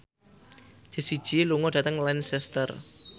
Jessie J lunga dhateng Lancaster